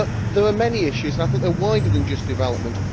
There are many issues, and I think they are wider than just development.